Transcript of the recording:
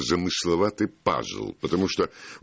замысловатый пазл потому что